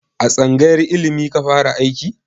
A tsangayar ilimi ka fara aiki?